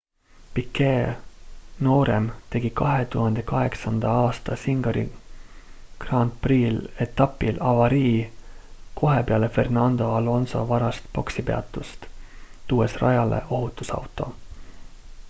piquet noorem tegi 2008 aasta singapuri gp-etapil avarii kohe peale fernando alonso varast boksipeatust tuues rajale ohutusauto